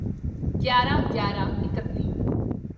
ਗਿਆਰਾਂਗਿਆਰਾਂਇਕੱਤੀ